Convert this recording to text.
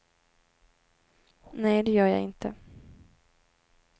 Nej, det gör jag inte.